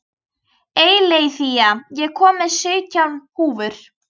Eileiþía, ég kom með sautján húfur!